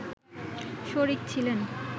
শরিক ছিলেন